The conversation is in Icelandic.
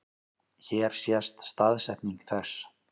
Hér sést staðsetning þess.